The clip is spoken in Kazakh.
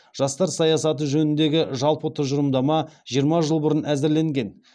жастар саясаты жөніндегі жалпы тұжырымдама жиырма жыл бұрын әзірленген